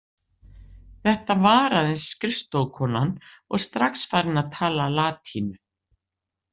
Þetta var aðeins skrifstofukonan og strax farin að tala latínu.